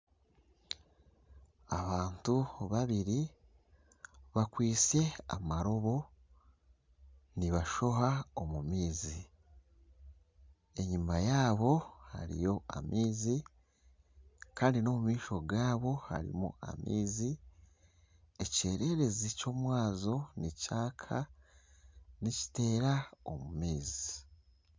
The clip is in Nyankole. Abantu babiri bakwitse amaroobo nibashoha omu maizi, enyima yaabo hariyo amaizi kandi n'omu maisho gaabo hariyo amaizi, ekyererezi ky'omwazyo nikyaka nikiteera omu maizi